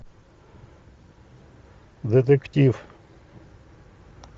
детектив